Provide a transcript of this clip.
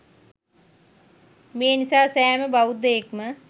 මේ නිසා, සෑම බෞද්ධයෙක්ම